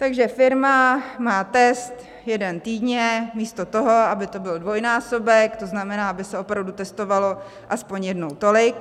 Takže firma má test jeden týdně místo toho, aby to byl dvojnásobek, to znamená, aby se opravdu testovalo aspoň jednou tolik.